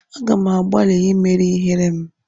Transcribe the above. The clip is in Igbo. Aga m agbalị imeri ihere m.